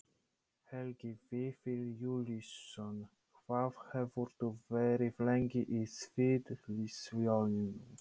Helgi Vífill Júlíusson: Hvað hefurðu verið lengi í sviðsljósinu?